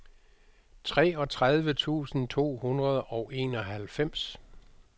treogtredive tusind to hundrede og enoghalvfems